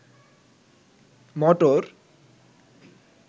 মটর